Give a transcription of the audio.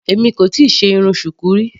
Èmi kò tíì ṣe irun Shuku rí.